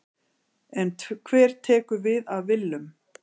En hver tekur við af Willum?